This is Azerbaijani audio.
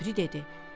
O biri dedi: